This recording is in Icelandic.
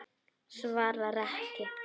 Svarar ekki.